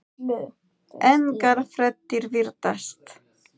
Engar fréttir virðast